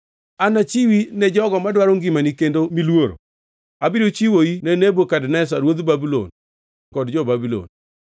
Anachiwi ne jogo madwaro ngimani kendo miluoro. Abiro chiwou ne Nebukadneza ruodh Babulon kod jo-Babulon.